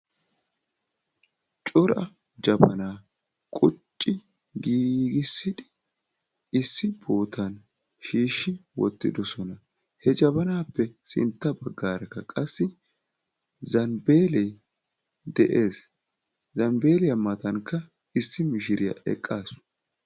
Cora jabana qucci giigisidi issi bootan shiishi wottidosona. He jabanappe sintta baggaraka qassi zambeele de'ees. Zambbeliya matankka issi mishiriya eqqasu.